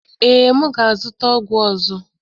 Ee, m ga-azụta ọgwụ ọzọ.